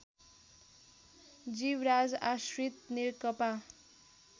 Jivraj Ashrit Nekapa